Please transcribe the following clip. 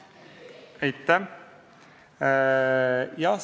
Aitäh!